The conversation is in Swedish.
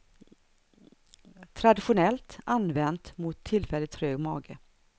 Traditionellt använt mot tillfälligt trög mage.